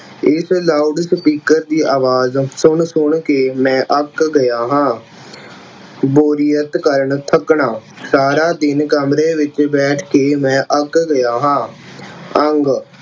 ਇਸ loudspeaker ਦੀ ਆਵਾਜ਼ ਸੁਣ-ਸੁਣ ਕੇ ਮੈਂ ਅੱਕ ਗਿਆ ਹਾਂ ਬੋਰੀਅਤ ਕਾਰਨ ਥੱਕਣਾ, ਸਾਰਾ ਦਿਨ ਕਮਰੇ ਵਿੱਚ ਬੈਠ ਕੇ ਮੈਂ ਅੱਕ ਗਿਆ ਹਾਂ। ਅੰਗ